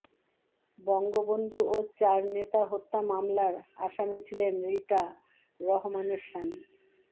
বঙ্গবন্ধু ও চার নেতা হত্যা মামলার আসামি ছিলেন রিটা রহমানের স্বামী